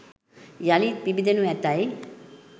යළිත් පිබිදෙනු ඇතැයි